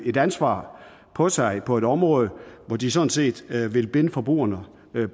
et ansvar på sig på et område hvor de sådan set vil binde forbrugerne